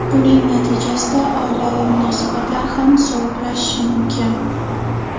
Buning natijasida oilaviy munosabatlar ham sovuqlashishi mumkin.